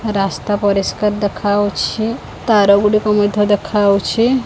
ରାସ୍ତା ପରିଷ୍କାର ଦେଖାଯାଉଛି ତାରା ଗୋଡିକ ମଧ୍ୟ ଦେଖାଯାଉଛି।